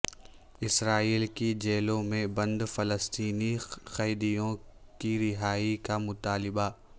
اسرائیل کی جیلوں میں بند فلسطینی قیدیوں کی رہائی کا مطالبہ